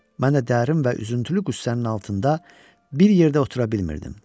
Mən də dərin və üzüntülü qüssənin altında bir yerdə otura bilmirdim.